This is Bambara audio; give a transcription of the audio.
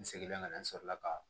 N seginnen ka na n sɔrɔ la ka